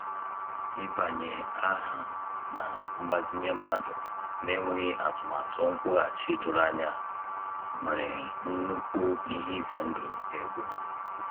Ịbanye aha na mgbazinye mmadụ n'enweghị atụmatụ nkwughachi doro anya nwere nnukwu ihe ize ndụ ego.